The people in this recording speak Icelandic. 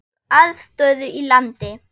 Þá þarf aðstöðu í landi.